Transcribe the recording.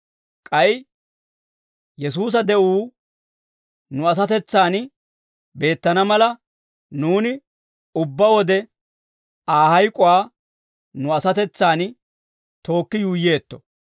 K'ay Yesuusa de'uu nu asatetsan beettana mala, nuuni ubbaa wode Aa hayk'uwaa nu asatetsan tookki yuuyyeetto.